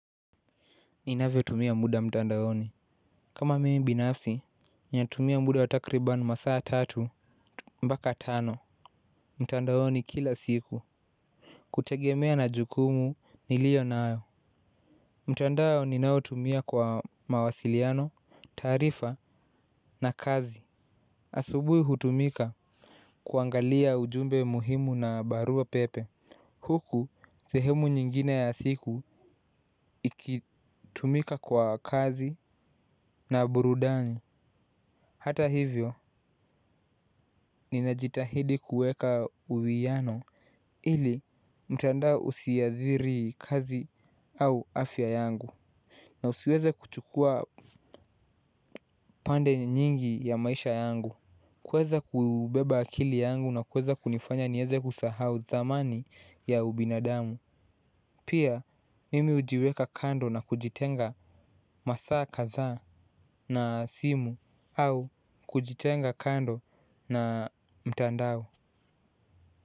Ninavyotumia muda mtandaoni kama mimi binafsi ninatumia muda wa takribani masaa tatu mpaka tano mtandaoni kila siku. Kutegemea na jukumu niliyo nayo. Mtandao ninaotumia kwa mawasiliano taarifa na kazi asubuhi hutumika kuangalia ujumbe muhimu na barua pepe huku sehemu nyingine ya siku ikitumika kwa kazi na burudani. Hata hivyo ninajitahidi kuweka uwiano ili mtandao usiathiri kazi au afya yangu na usiweze kuchukua pande nyingi ya maisha yangu. Kuweza kubeba akili yangu na kuweza kunifanya niweze kusahau thamani ya ubinadamu. Pia mimi hujiweka kando na kujitenga masaa kadhaa na simu au kujitenga kando na mtandao.